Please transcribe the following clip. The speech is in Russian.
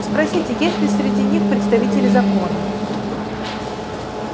спросите есть ли среди них представители закона